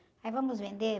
Aí vamos vender?